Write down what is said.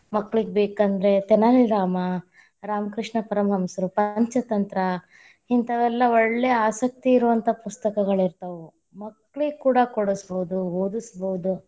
ಮಕ್ಕಳಿಗ ಬೇಕಂದ್ರೆ ತೆನಾಲಿರಾಮ, ರಾಮಕೃಷ್ಣಪರಮಹಂಸರು, ಪಂಚತಂತ್ರ, ಇಂತಾವೆಲ್ಲ ಒಳ್ಳೇ ಆಸಕ್ತಿ ಇರುವಂಥಾ ಪುಸ್ತಕಗಳಿತಾ೯ವ, ಮಕ್ಕಳಿಗ್‌ ಕೂಡಾ ಕೊಡಸ್ಬಹುದು, ಓದಸ್‌ ಬಹುದು.